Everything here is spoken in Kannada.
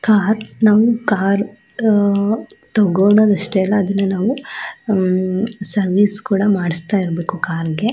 ಕಾರ್ ನಮ್ ಕಾರ್ ಹೋ ತಗೋಳ್ಳೋದ್ ಅಷ್ಟೇ ಅಲ್ಲ ಅದನ್ನ ನಾವು ಸರ್ವಿಸ್ ಕೂಡ ಮಾಡಿಸ್ತಾ ಇರ್ಬೇಕು ಕಾರ್ ಗೆ .